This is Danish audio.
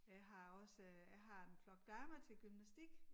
Jeg har også jeg har en flok damer til gymnastik